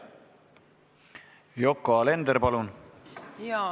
Yoko Alender, palun!